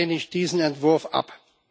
Daher lehne ich diesen Entwurf ab.